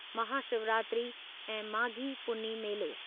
महाशिवरात्री ऐं माघी पुन्नी मेलो